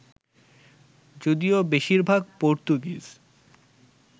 যদিও বেশির ভাগ পর্তুগিজ